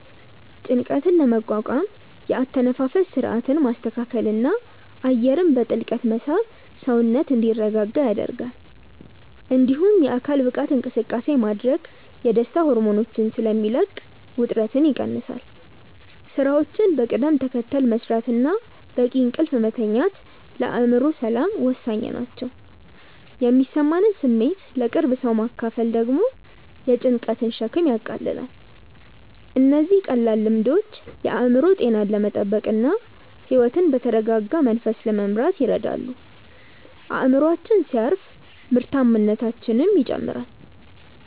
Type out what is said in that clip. ጭንቀትን ለመቋቋም የአተነፋፈስ ሥርዓትን ማስተካከልና አየርን በጥልቀት መሳብ ሰውነት እንዲረጋጋ ይረዳል። እንዲሁም የአካል ብቃት እንቅስቃሴ ማድረግ የደስታ ሆርሞኖችን ስለሚለቅ ውጥረትን ይቀንሳል። ሥራዎችን በቅደም ተከተል መሥራትና በቂ እንቅልፍ መተኛት ለአእምሮ ሰላም ወሳኝ ናቸው። የሚሰማንን ስሜት ለቅርብ ሰው ማካፈል ደግሞ የጭንቀትን ሸክም ያቃልላል። እነዚህ ቀላል ልምዶች የአእምሮ ጤናን ለመጠበቅና ሕይወትን በተረጋጋ መንፈስ ለመምራት ይረዳሉ። አእምሮአችን ሲያርፍ ምርታማነታችንም ይጨምራል።